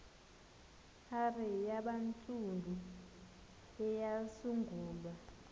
hare yabantsundu eyasungulwa